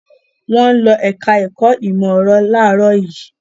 Wọ́n ń lọ ẹ̀ka-ẹ̀kọ́ ìmọ̀-ẹ̀rọ láàárọ̀ yìí.